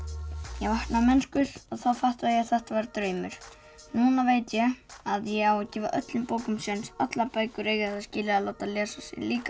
ég vakna mennskur og þá fattaði ég að þetta var draumur núna veit ég að ég á að gefa öllum bókum séns allar bækur eiga það skilið að láta lesa sig líka